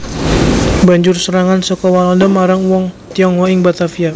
Banjur serangan saka Walanda marang wong Tionghoa ing Batavia